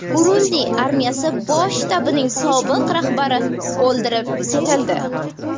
Burundi armiyasi bosh shtabining sobiq rahbari o‘ldirib ketildi.